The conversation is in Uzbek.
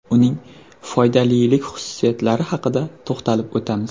Uning foydalilik xususiyatlari haqida to‘xtalib o‘tamiz.